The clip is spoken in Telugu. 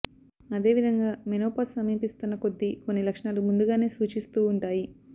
అదేవిధంగా మెనోపాజ్ సమీపిస్తున్న కొద్దీ కొన్ని లక్షణాలు ముందుగానే సూచిస్తూ ఉంటాయి